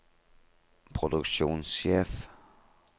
produksjonssjef